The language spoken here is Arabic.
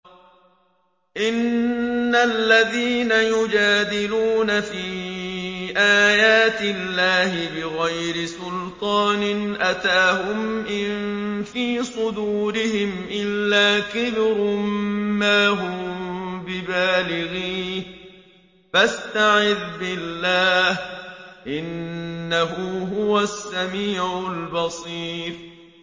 إِنَّ الَّذِينَ يُجَادِلُونَ فِي آيَاتِ اللَّهِ بِغَيْرِ سُلْطَانٍ أَتَاهُمْ ۙ إِن فِي صُدُورِهِمْ إِلَّا كِبْرٌ مَّا هُم بِبَالِغِيهِ ۚ فَاسْتَعِذْ بِاللَّهِ ۖ إِنَّهُ هُوَ السَّمِيعُ الْبَصِيرُ